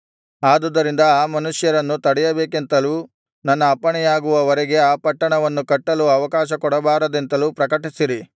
ಆದುದರಿಂದ ಆ ಮನುಷ್ಯರನ್ನು ತಡೆಯಬೇಕೆಂತಲೂ ನನ್ನ ಅಪ್ಪಣೆಯಾಗುವ ವರೆಗೆ ಆ ಪಟ್ಟಣವನ್ನು ಕಟ್ಟಲು ಆವಕಾಶ ಕೊಡಬಾರದೆಂತಲೂ ಪ್ರಕಟಿಸಿರಿ